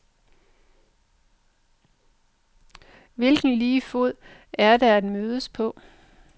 Hvilken lige fod er der at mødes på?